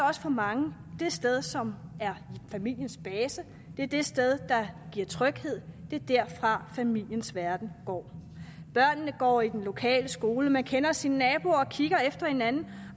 også for mange det sted som er familiens base det er det sted der giver tryghed det er derfra familiens verden går børnene går i den lokale skole man kender sine naboer og kigger efter hinanden